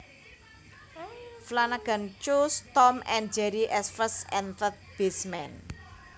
Flanagan chose Tom and Jerry as first and third basemen